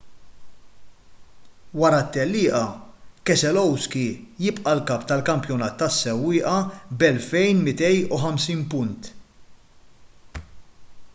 wara t-tellieqa keselowski jibqa’ l-kap tal-kampjonat tas-sewwieqa b’2,250 punt